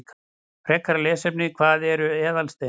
Frekara lesefni: Hvað eru eðalsteinar?